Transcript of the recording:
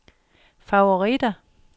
favoritter